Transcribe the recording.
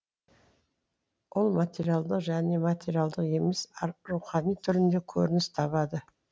ол материалдық және материалдық емес рухани түрінде көрініс табады